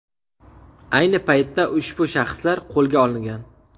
Ayni paytda ushbu shaxslar qo‘lga olingan.